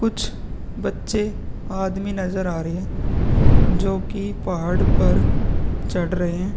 कुछ बच्चे आदमी नजर आ रहे है जो कि पहाड़ पर चढ़ रहे है।